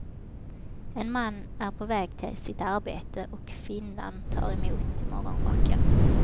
En man är på väg till sitt arbete och kvinnan tar emot i morgonrocken.